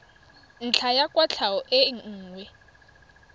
ntlha ya kwatlhao e nngwe